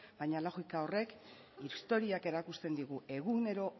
baina logika horrek historiak erakusten digu egunero